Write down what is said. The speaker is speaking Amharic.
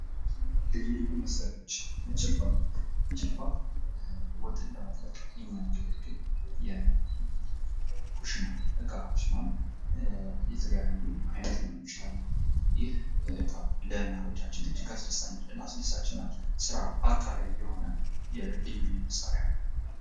ልዩ ልዩ መሳሪያዎች ። ጭልፋ ፡ ጭልፋ ወጥን ለመጥለቅ የሚያገለግል የኩሽና እቃ ሲሆን የተለያዩ አይነት ሊሆኑ ይችላሉ ። ይህ እቃ ለእናቶቻችን እጅግ አስደሳች እና ስራ አቃላይ የሆነ የልዩ ልዩ መሳሪያ ነው ።